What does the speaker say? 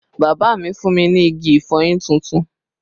Bàbá mi fún mi ní igi ìfọyín tuntun